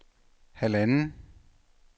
halvanden